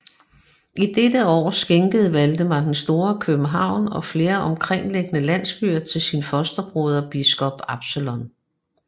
I dette år skænkede Valdemar den Store København og flere omkringliggende landsbyer til sin fosterbroder biskop Absalon